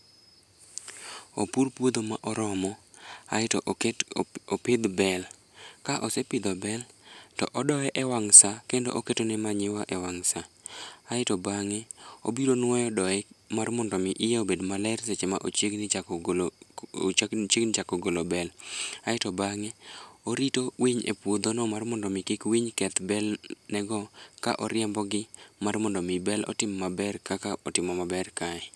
Opur puodho ma oromo aeto opidh bel. Ka osepidho bel to odoye e wang' sa kendo oketone manyiwa e wang' sa, aeto bang'e obiro nwoyo doye mar mondo omi iye obed maler seche ma ochiegni chako golo bel. Aeto bang'e orito winy e puodhono mar mondo omi kik winy keth belne go ka oriembogi mar mondo omi bel otim maber kaka otimo maber kae.